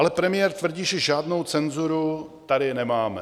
Ale premiér tvrdí, že žádnou cenzuru tady nemáme.